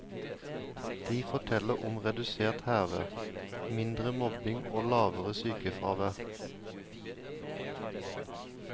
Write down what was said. De forteller om redusert hærverk, mindre mobbing og lavere sykefravær.